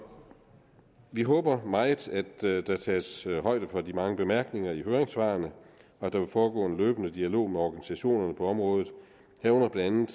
vi håber meget at der tages højde for de mange bemærkninger i høringssvarene og at der vil foregå en løbende dialog med organisationerne på området herunder blandt